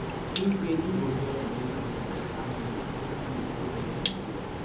im say im go sell di vacancies to candidates candidates wey dey nigeria